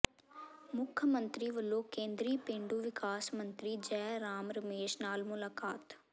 ਮੁੱਖ ਮੰਤਰੀ ਵਲੋਂ ਕੇਂਦਰੀ ਪੇਂਡੂ ਵਿਕਾਸ ਮੰਤਰੀ ਜੈ ਰਾਮ ਰਮੇਸ਼ ਨਾਲ ਮੁਲਾਕਾਤ